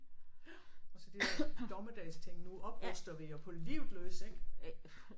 Jo og så det er dommedagsting nu opruster vi jo på livet løs ik